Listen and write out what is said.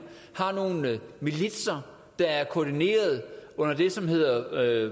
har nogle militser der er koordineret under det som hedder